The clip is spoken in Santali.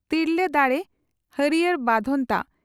ᱛᱤᱨᱞᱟᱹ ᱫᱟᱲᱮ ᱦᱟᱹᱨᱭᱟᱲ ᱵᱟᱫᱷᱚᱱᱛᱟ